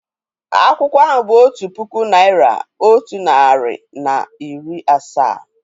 Akwụkwọ ahụ otu puku naị́ra, otu narị na iri asaa.